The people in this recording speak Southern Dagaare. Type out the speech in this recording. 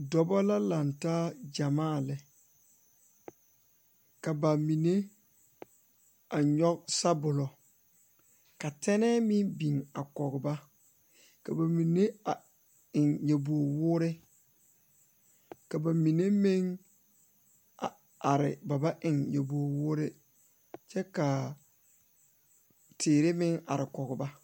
Dɔɔba ne pɔgeba la toɔ a pegle orobaare ka teere yigaa are a ba nimitɔɔre ka bamine su kpare ziiri ka bamine meŋ su kpare sɔglɔ ka bamine meŋ a do kyɛ teere meŋ are kɔŋ ba.